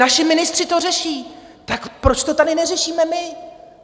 Naši ministři to řeší, tak proč to tady neřešíme my?